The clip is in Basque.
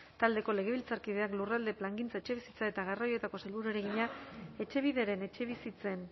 taldeko legebiltzarkideak lurralde plangintza etxebizitza eta garraioetako sailburuari egina etxebideren etxebizitzen